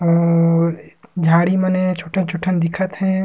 और झाड़ी मने छोटे-छोटे दिखत हे।